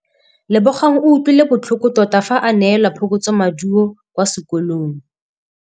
Lebogang o utlwile botlhoko tota fa a neelwa phokotsômaduô kwa sekolong.